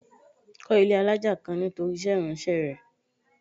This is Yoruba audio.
Kó ilé alájà kan nítorí iṣẹ́ ìránṣẹ́ rẹ.